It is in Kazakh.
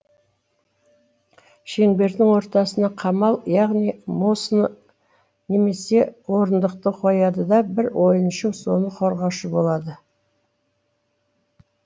шеңбердің ортасына қамал яғни мосыны немесе орындықты қояды да бір ойыншы соны қорғаушы болады